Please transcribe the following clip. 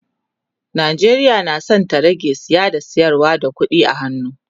Najeriya na San ta rage saye da sayarwa da ƙuɗi a hannu